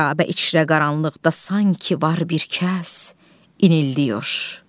Xərabə içrə qaranlıqda sanki var bir kəs inildiyir.